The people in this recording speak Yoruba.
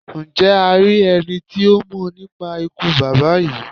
Njẹ a ri ẹni ti o mọ nipa ikú baba yii?